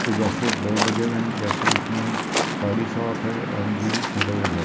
के जैसे बोर्ड लगे हुए है जैसे इसमे बॉडी शॉप है एम जी मिरर लगा है ।